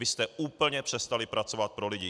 Vy jste úplně přestali pracovat pro lidi.